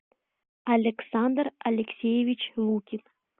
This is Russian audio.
александр алексеевич лукин